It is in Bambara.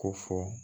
Ko fɔ